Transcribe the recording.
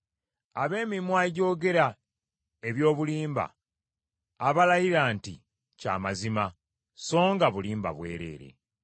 ab’emimwa egyogera eby’obulimba, abalayira nti kya mazima, so nga bulimba bwereere.